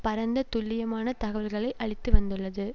பரந்த துல்லியமான தகவல்களை அளித்து வந்துள்ளது